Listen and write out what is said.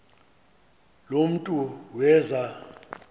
lo mntu weza